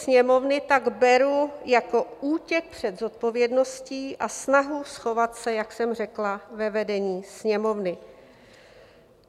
Sněmovny tak beru jako útěk před zodpovědností a snahu schovat se, jak jsem řekla, ve vedení Sněmovny.